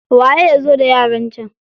Waye ya zo da yaran can?